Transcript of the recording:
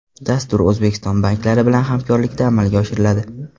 Dastur O‘zbekiston banklari bilan hamkorlikda amalga oshiriladi.